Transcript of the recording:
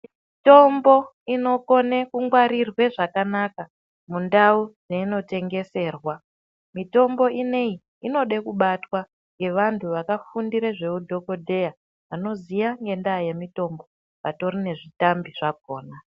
Mitombo inokona kungwarirwa zvakanaka mundau mainotengeserwa mitombo ineyi inode kubatwa nevantu vakafundira zveudhokodheya vanoziya ngenyaya yemitombo vatori nezvitambi zvakona